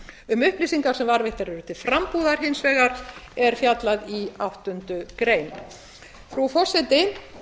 um upplýsingar sem varðveittar eru til frambúðar hins vegar er fjallað í áttundu greinar frá forseti